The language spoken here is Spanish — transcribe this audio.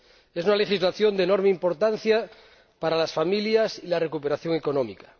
Es una legislación de enorme importancia para las familias y la recuperación económica.